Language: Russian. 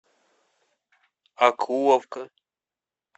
окуловка